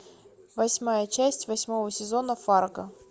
восьмая часть восьмого сезона фарго